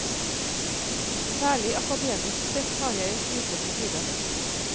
Særlig akademisk sett har jeg en klysete side.